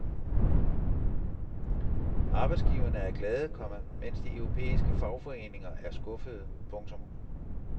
Arbejdsgiverne er glade, komma mens de europæiske fagforeninger er skuffede. punktum